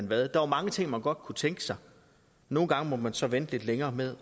hvad der var mange ting man godt kunne tænke sig nogle gange måtte man så vente lidt længere med